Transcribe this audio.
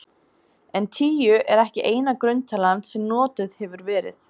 En tíu er ekki eina grunntalan sem notuð hefur verið.